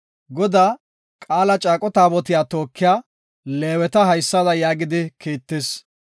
Godaa, Qaala caaqo Taabotiya tookiya Leeweta haysada yaagidi kiittis;